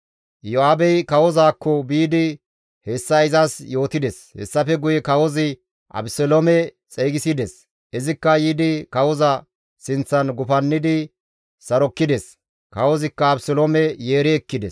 Iyo7aabey kawozaakko biidi hessa izas yootides; hessafe guye kawozi Abeseloome xeygisides; izikka yiidi kawoza sinththan gufannidi sarokkides; kawozikka Abeseloome yeeri ekkides.